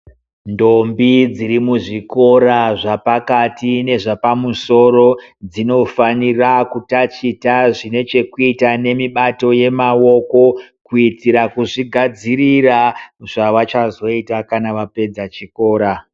Ndombi dziri muzvikora zvepakati nezvepamusoro dzinofanira kutaticha nezvekuita nemibato yemaoko kuitira kuzvigadzirira zvavachazoita kana vapedza chikora.